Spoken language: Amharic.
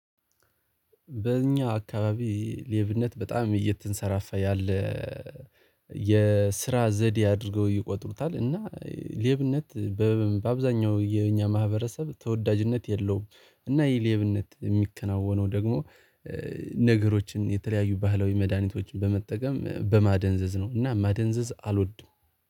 በእኛ አካባቢ ሌብነት በጣም እየተንሰራፋ ያለ የስራ ዘዴ አድርገው ይቆጥሩታል። እና ሌብነት በአብዛኛው የኛ ማህበረሰብ ተወዳጅነት የለውም። እና የሌብነት የሚከናወነው ደግሞ ነገሮችን የተለያዩ ባህላዊ መድሃኒቶችን በመጠቀም በማደንዘዝ ነው። እና ማደንዘዝ አልወድም